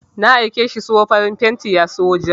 Na aike shi siyo farin fenti ya siyo ja.